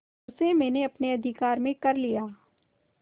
उसे मैंने अपने अधिकार में कर लिया